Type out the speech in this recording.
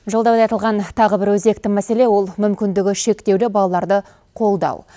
жолдауда айтылған тағы бір өзекті мәселе ол мүмкіндігі шектеулі балаларды қолдау